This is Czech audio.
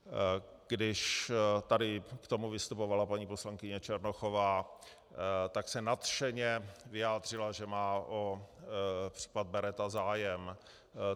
Když tady k tomu vystupovala paní poslankyně Černochová, tak se nadšeně vyjádřila, že má o případ Beretta zájem.